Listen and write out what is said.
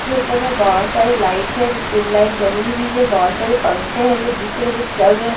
जो ऊपर मे बहोत सारे लाइट जो ट्यूब लाइट जाली हुए है जो बहोत सारे पंखे है जो दिख रहे है जो चल रहे है।